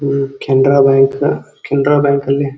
ಇದು ಕೆನರಾ ಬ್ಯಾಂಕ್ ಕೆನರಾ ಬ್ಯಾಂಕಲ್ಲಿ --